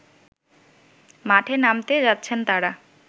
মাঠে নামতে যাচ্ছেন তারা